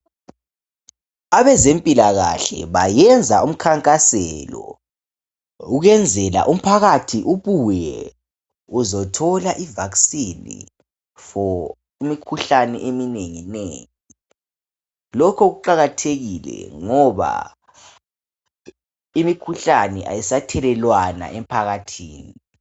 Abezempilakahle bayenza umkhankaselo ukwenzela umphakathi ubuye uzothola i vaccine for imkhuhlane eminenginengi. Lokho kuqakathekile ngoba imikhuhlane ayisathelelwana emphakathini